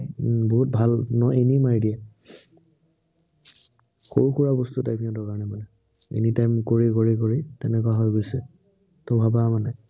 উম বহুত ভাল। ন এনেই মাৰি দিয়ে। সৰু সুৰা বস্তু type সিহঁতৰ কাৰনে মানে। anytime কৰি কৰি কৰি তেনেকুৱা হৈ গৈছে। ত ভাবা মানে